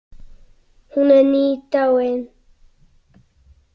Hún er nýdáin.